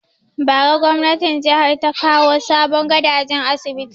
Bara gwamnatin jihar ta kawo sabon gadajen asibiti